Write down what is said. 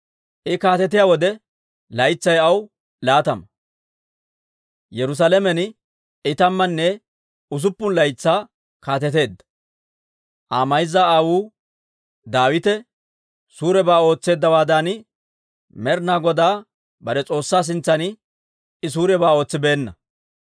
I kaatetiyaa wode laytsay aw laatama; Yerusaalamen I tammanne usuppun laytsaa kaateteedda. Aa mayza aawuu Daawite suurebaa ootseeddawaadan, Med'ina Godaa bare S'oossaa sintsan I suurebaa ootsibeenna.